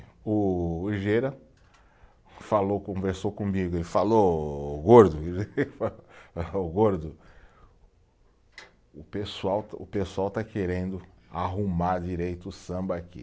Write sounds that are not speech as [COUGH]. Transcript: O [UNINTELLIGIBLE] falou, conversou comigo ele falou, ô gordo [LAUGHS] [UNINTELLIGIBLE] gordo, o pessoal está, o pessoal está querendo arrumar direito o samba aqui.